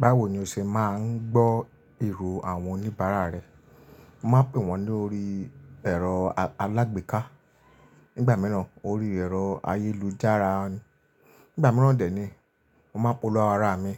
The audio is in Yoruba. Báwo ni o ṣe ma ń gbọ́ ìró àwọn oníbàárà rẹ? Mo má ń pè wọ́n lórí ẹ̀rọ alágbéká, nígbà mìíràn orí ẹ̀rọ ayélujára, nígbà mìíràn dè nií, mo máa ń polówó ara mi